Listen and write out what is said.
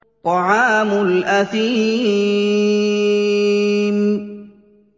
طَعَامُ الْأَثِيمِ